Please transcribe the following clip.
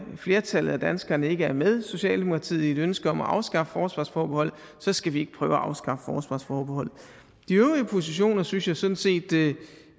flertallet af danskerne ikke er med socialdemokratiet i et ønske om at afskaffe forsvarsforbeholdet så skal vi ikke prøve at afskaffe forsvarsforbeholdet de øvrige positioner synes jeg sådan set